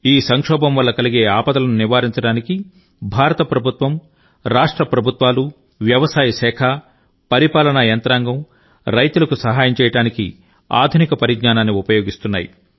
ఈ సంక్షోభం వల్ల కలిగే ఆపదలను నివారించడానికి భారత ప్రభుత్వం రాష్ట్ర ప్రభుత్వాలు వ్యవసాయ శాఖ పరిపాలన యంత్రాంగం రైతులకు సహాయం చేయడానికి ఆధునిక పరిజ్ఞానాన్ని ఉపయోగిస్తున్నాయి